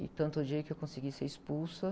E tanto odiei que eu consegui ser expulsa.